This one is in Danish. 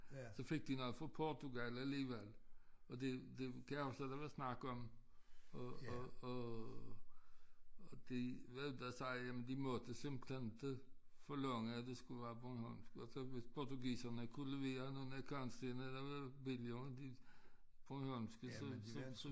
Så fik de nogle fra Portugal alligevel og det det det amtstue der var snak om og og og og de vendte sig jamen de måtte simpelthen inte forlange at det skulle være bornholmsk altså hvis portugiserne kunne levere nogle kantsten der var billigere end de bornholmske så så